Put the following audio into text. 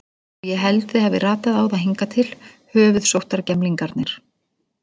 Og ég held þið hafið ratað á það hingað til, höfuðsóttargemlingarnir.